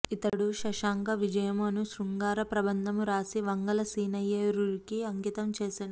ఇతడు శశాంక విజయము అను శృంగార ప్రబంధమును రాసి వంగలసీనయార్యునికి అంకితం చేసెను